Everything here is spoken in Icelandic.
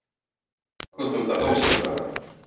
Að lokum tókst að hálshöggva hana.